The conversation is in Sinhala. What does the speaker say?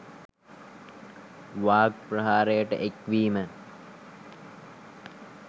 වාග් ප්‍රහාරයට එක් වීම